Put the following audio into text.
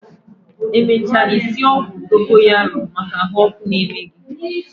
Emecha I sie ogwu dogoyaro maka ahuoku na-eme gi